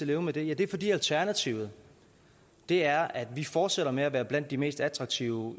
leve med det ja det er fordi alternativet er at vi fortsætter med at være blandt de mest attraktive